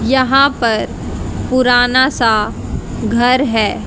यहां पर पुराना सा घर है।